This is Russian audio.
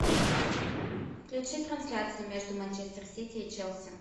включи трансляцию между манчестер сити и челси